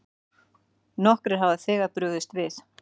Nokkrir hafa þegar brugðist við.